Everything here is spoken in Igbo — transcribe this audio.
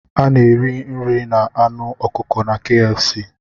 A na-eri nri na anụ ọkụkọ na KFC